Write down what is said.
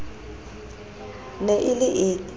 ne e le e ke